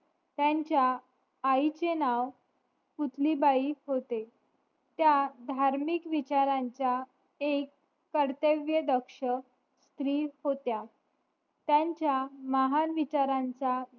त्यांच्या आईचे पुतळीबाई होते त्या धार्मिक विचारांच्या एक कर्तव्यदक्ष स्त्री होत्या त्यांच्या महान विचारांच्या